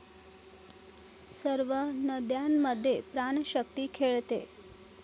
सर्व नद्यांमधे प्राणशक्ती खेळते.